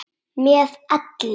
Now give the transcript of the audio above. Með elli.